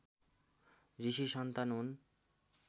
ऋषि सन्तान हुन्